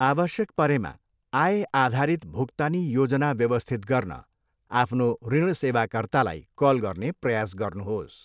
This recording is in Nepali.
आवश्यक परेमा, आयआधारित भुक्तानी योजना व्यवस्थित गर्न आफ्नो ऋण सेवाकर्तालाई कल गर्ने प्रयास गर्नुहोस्।